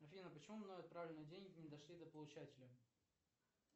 афина почему мною отправленные деньги не дошли до получателя